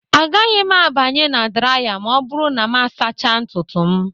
Agaghị m abanye na draya ma ọ bụrụ na m asachaa ntutu m